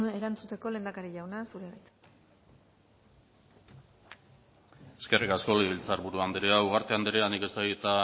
erantzuteko lehendakari jauna zurea da hitza eskerrik asko legebitzar buru andrea ugarte andrea nik ez dakit